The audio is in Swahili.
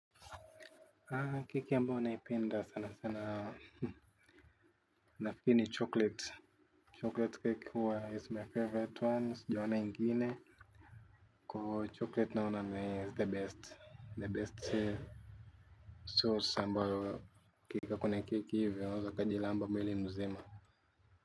Kike ambayo naipenda sana sana nafikiri ni chocolate. Chocolate cake huwa is my favorite one siajaona ingine. Kwa chocolate naona is the best, the best sauce ambayo ukiweka kwenye keki hivi waeza ukajilamba mwili mzima.